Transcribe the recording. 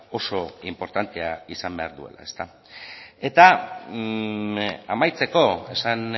oso inportantea izan behar duela eta amaitzeko esan